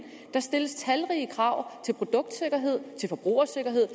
der stilles talrige krav til produktsikkerhed til forbrugersikkerhed